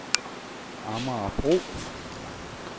Amagerbro